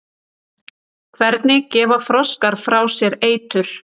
hvernig gefa froskar frá sér eitur